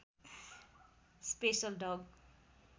special डग